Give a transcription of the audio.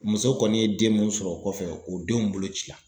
Muso kɔni ye den mun sɔrɔ o kɔfɛ o denw bolo ci la.